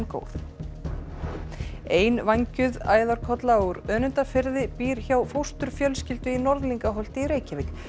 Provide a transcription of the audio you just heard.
góð einvængjuð æðarkolla úr Önundarfirði býr hjá fósturfjölskyldu í Norðlingaholti í Reykjavík